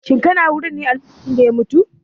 Shin kana wurin ne a lokacin da ya mutu?